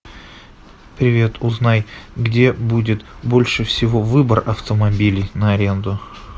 привет узнай где будет больше всего выбор автомобилей на аренду